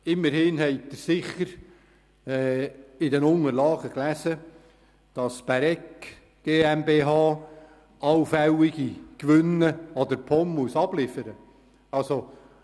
Immerhin haben Sie sicher in den Unterlagen gelesen, dass die Bäregg GmbH allfällige Gewinne der POM abliefern muss.